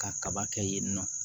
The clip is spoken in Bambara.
Ka kaba kɛ yen nɔ